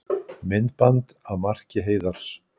Myndband af marki Heiðars